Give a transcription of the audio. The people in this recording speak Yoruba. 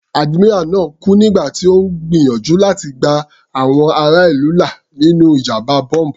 Admiral náà kú nígbà tí Ó ń gbìyànjú láti gba àwọn ará ìlú là nínú ìjàmbá bọ́m̀bù.